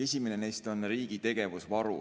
Esimene neist on riigi tegevusvaru.